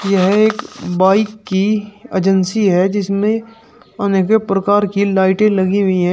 यह एक बाइक की अजेंसी है जिसमें अनेकों प्रकार की लाइटें लगी हुई हैं।